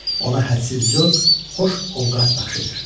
Ona hədsiz zövq, xoş ovqat bəxş edir.